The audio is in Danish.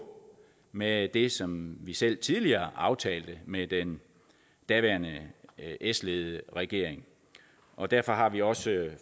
med det som vi selv tidligere aftalte med den daværende s ledede regering og derfor har vi også